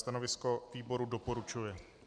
Stanovisko výboru - doporučuje.